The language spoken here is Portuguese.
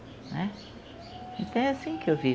Né, então é assim que eu vivo.